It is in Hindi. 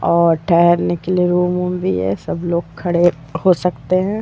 और ठहरने के लिए रूम - उम भी है सब लोग खड़े हो सकते हैं।